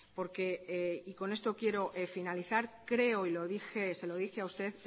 con esto quiero finalizar creo y se lo dije a usted